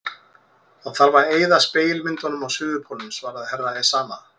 Það þarf að eyða spegilmyndunum á Suðurpólnum, svaraði herra Ezana.